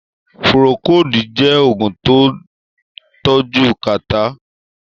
Pùròkòdí jẹ́ Ògùn tó ń tọ́jú kàtá